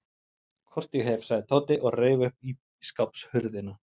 Hvort ég hef, sagði Tóti og reif upp ísskápshurðina.